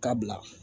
Ka bila